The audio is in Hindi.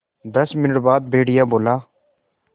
दस मिनट बाद भेड़िया बोला